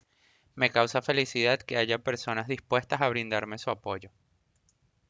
me causa felicidad que haya personas dispuestas a brindarme su apoyo